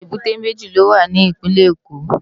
Ébùté méji ló wá ni Ipinlè Ékó